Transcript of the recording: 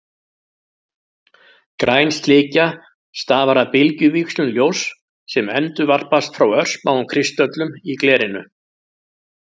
Græn slikja stafar af bylgjuvíxlum ljóss sem endurvarpast frá örsmáum kristöllum í glerinu.